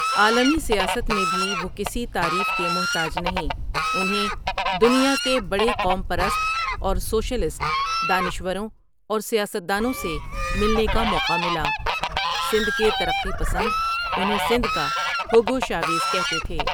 عالمی سیاست میں بھی وہ کسی تعریف کے محتاج نھیں انھیں دنیا کے بڑے قوم پرست اور سوشلسٹ دانشوروں اور سیاستدانوں سے ملنے کا موقع ملا سندھ کے ترقی پسند انھیں سندھ کا ھوگو شاویز کھتے تھے ۔